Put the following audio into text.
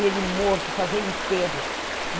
Ele morto, fazer enterro.